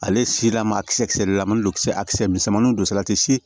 Ale si la maa kisɛ kisɛrilamali don kisɛ a kisɛ misɛnmaninw don salati si